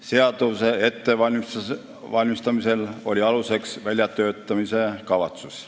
Seaduse ettevalmistamisel oli aluseks väljatöötamiskavatsus.